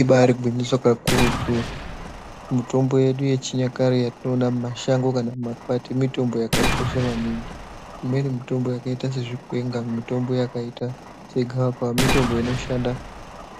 Ibari gwinyiso kakurutu mutombo yedu yechinyakare yatinoona mumashango kana mumakwati mitombo yakakosha maningi. Imweni mitombo yakaita sezvikwenga, mitombo yakaita segavakava mitombo inoshanda